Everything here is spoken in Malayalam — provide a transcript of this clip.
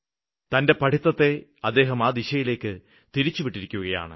തന്റെ പഠിത്തത്തെ അദ്ദേഹം ആ ദിശയിലേക്ക് തിരിച്ചുവിട്ടിരിക്കുകയാണ്